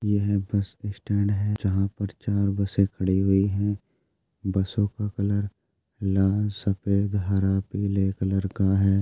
यह bus stand है जहां पर चार बसें खड़ी हुई हैं। बसों का कलर लाल सफेद हरा पीले कलर का हैं।